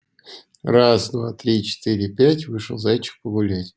раз-два-три-четыре-пять вышел зайчик погулять